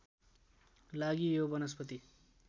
लागि यो वनस्पति